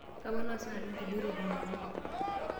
Kaponaa sinanu nkulie ropiyiani.